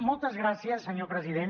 moltes gràcies senyor president